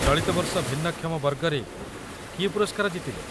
ଚଳିତ ବର୍ଷ ଭିନ୍ନକ୍ଷମ ବର୍ଗରେ କିଏ ପୁରସ୍କାର ଜିତିଲେ?